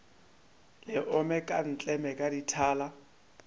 le omeka ntleme ka dithala